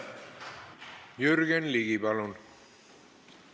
Jürgen Ligi, palun!